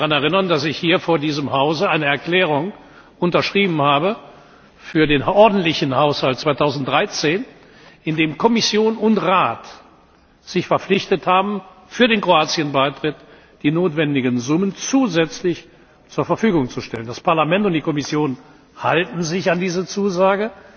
Sie werden sich daran erinnern, dass ich hier vor diesem Hause eine Erklärung unterschrieben habe für den ordentlichen Haushalt 2013, in dem Kommission und Rat sich verpflichtet haben, für den Kroatien Beitritt die notwendigen Summen zusätzlich zur Verfügung zu stellen. Das Parlament und die Kommission halten sich an diese Zusage,